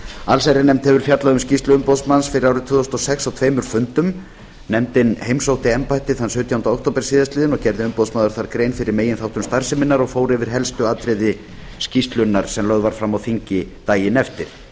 allsherjarnefnd hefur fjallað um skýrslu umboðsmanns fyrir árið tvö þúsund og sex á tveimur fundum nefndin heimsótti embættið sautjánda október síðastliðinn og gerði umboðsmaður þar grein fyrir meginþáttum starfseminnar og fór yfir helstu atriði skýrslunnar sem lögð var fram á þingi daginn eftir